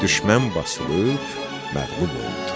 Düşmən basılıb, məğlub oldu.